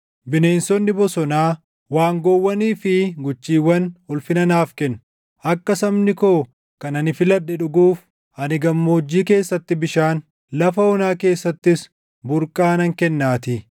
Bineensonni bosonaa, waangoowwanii fi guchiiwwan ulfina naaf kennu; akka sabni koo kan ani filadhe dhuguuf, ani gammoojjii keessatti bishaan, lafa onaa keessattis burqaa nan kennaatii;